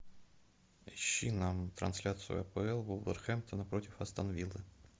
ищи нам трансляцию апл вулверхэмптона против астон виллы